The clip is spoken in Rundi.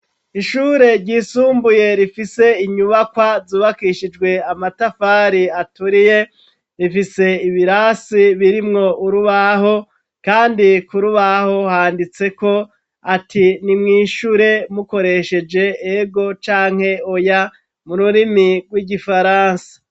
Ishure ryisumbuye rifise inyubakwa zubakishijwe amatafari aturiye, rifise ibirasi birimwo urubaho kandi ku rubaho handitseko ati: ni mwishure mukoresheje "ego" canke "oya" , mu rurimi rw'igifaransa.